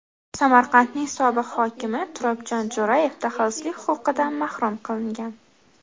Samarqandning sobiq hokimi Turobjon Jo‘rayev daxlsizlik huquqidan mahrum qilingan.